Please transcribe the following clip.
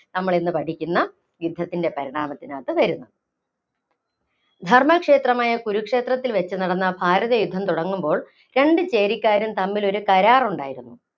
നമ്മിളിന്നു പഠിക്കുന്ന യുദ്ധത്തിന്‍റെ പരിണാമത്തിനകത്ത് വരുന്നത്. ധര്‍മ്മക്ഷേത്രമായ കുരുക്ഷേത്രത്തില്‍ വച്ചു നടന്ന ഭാരതയുദ്ധം തുടങ്ങുമ്പോള്‍ രണ്ടു ചേരിക്കാരും തമ്മിലൊരു കരാര്‍ ഉണ്ടായിരുന്നു.